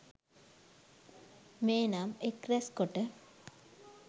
මේ නම් එක්රැස්කොට